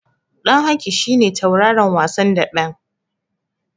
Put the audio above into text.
Ɗan Haki shi ne tauraron wasan daɓen.